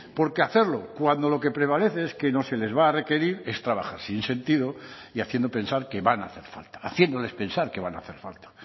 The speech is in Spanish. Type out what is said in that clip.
porque hacerlo cuando lo que prevalece es que no se les va a requerir es trabajar sin sentido y haciendo pensar que van a hacer falta haciéndoles pensar que van a hacer falta